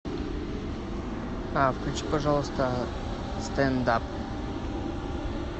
включи пожалуйста стенд ап